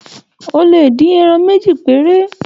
O lè dín ẹran méje péré.